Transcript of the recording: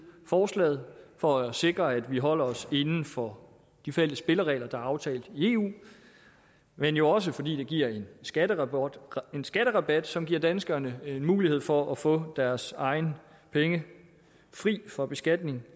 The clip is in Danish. forslaget for at sikre at vi holder os inden for de fælles spilleregler der er aftalt i eu men jo også fordi det giver en skatterabat en skatterabat som giver danskerne en mulighed for at få deres egne penge fri for beskatning